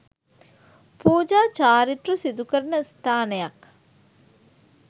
පූජා චාරිත්‍ර සිදුකරන ස්ථානයක්